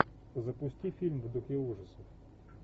запусти фильм в духе ужасов